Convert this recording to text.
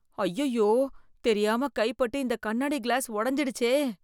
அய்யய்யோ தெரியாம கை பட்டு இந்த கண்ணாடி கிளாஸ் உடைஞ்சுடுச்சே!